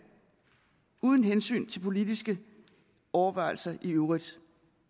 og uden hensyn til politiske overvejelser i øvrigt